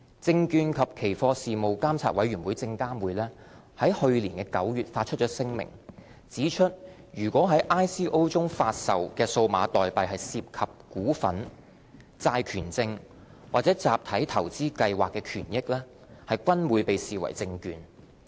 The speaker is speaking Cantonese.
證券及期貨事務監察委員會在去年9月發出聲明，指出如在 ICO 中發售的數碼代幣涉及"股份"、"債權證"或"集體投資計劃"的權益，均會被視為"證券"。